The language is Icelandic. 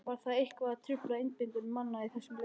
Var það eitthvað að trufla einbeitingu manna í þessum leik?